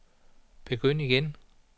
begynd igen